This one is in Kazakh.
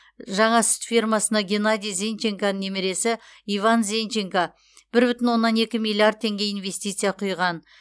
жаңа сүт фермасына геннадий зенченконың немересі иван зенченко бір бүтін оннан екі миллиард теңге инвестиция құйған